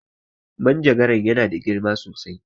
Manjagaran ya na da girma sosai